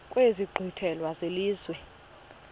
kwezi nkqwithela zelizwe